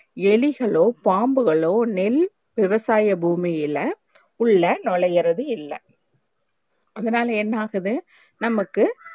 எலிகளோ பாம்புகளோ நெல் விவசாய பூமியில்ல உள்ள நுழையிறது இல்ல அதனால என்ன ஆகுது நமக்கு